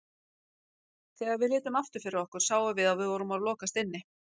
Þegar við litum aftur fyrir okkur sáum við að við vorum að lokast inni.